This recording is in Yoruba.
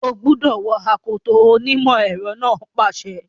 O gbúdọ̀ wọ akoto! onímọ̀ ẹ̀rọ náà pàṣẹ.